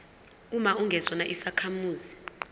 uma ungesona isakhamuzi